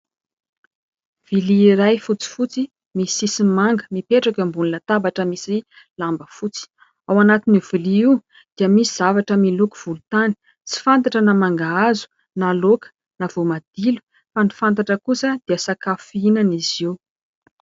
Vilia iray fotsifotsy misy sisiny manga, mipetraka eo ambony latabatra misy lamba fotsy. Ao anatin'io vilia io dia misy zavatra miloko volontany ; tsy fantatra na mangahazo na laoka na voamadilo fa ny fantatra kosa dia sakafo fihinana izy io.